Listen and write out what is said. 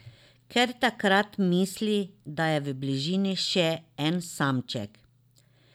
Ker takrat misli, da je v bližini še en samček.